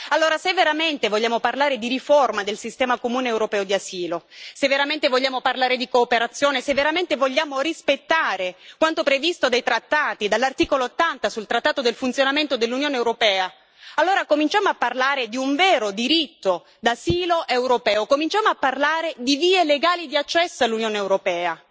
Allora, se veramente vogliamo parlare di riforma del sistema comune europeo di asilo, se veramente vogliamo parlare di cooperazione, se veramente vogliamo rispettare quanto previsto dai trattati e dall'articolo 80 sul trattato del funzionamento dell'Unione europea, allora cominciamo a parlare di un vero diritto d'asilo europeo, cominciamo a parlare di vie legali di accesso all'Unione europea,